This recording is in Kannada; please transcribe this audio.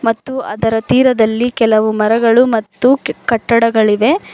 ಮತ್ತು ಅದರ ತೀರದಲ್ಲಿ ಕೆಲವು ಮರಗಳು ಮತ್ತು ಕಟ್ಟಡಗಳಿವೆ.